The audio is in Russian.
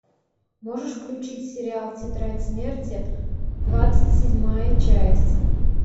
можешь включить сериал тетрадь смерти двадцать седьмая часть